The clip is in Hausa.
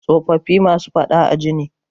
Tsofaffi masu faɗa a ji ne.